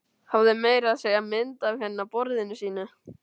Hafði meira að segja mynd af henni á borðinu sínu.